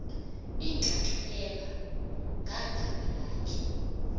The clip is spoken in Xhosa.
inxaxheba ngagama lakhe